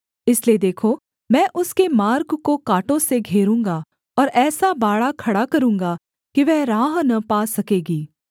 इसलिए देखो मैं उसके मार्ग को काँटों से घेरूँगा और ऐसा बाड़ा खड़ा करूँगा कि वह राह न पा सकेगी